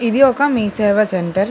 ఇది ఒక మీ సేవ సెంటర్ .